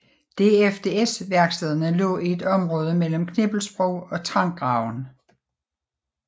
DFDS værkstederne lå i et område mellem Knippelsbro og Trangraven